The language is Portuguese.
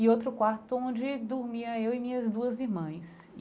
E outro quarto onde dormia eu e minhas duas irmãs.